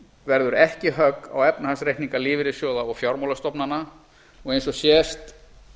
verður ekki högg á efnahagsreikninga lífeyrissjóða og fjármálastofnana og eins og sést